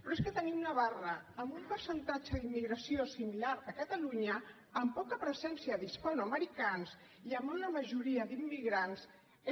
però és que tenim navarra amb un percentatge d’immigració similar a catalunya amb poca presència d’hispanoamericans i amb una majoria d’immigrants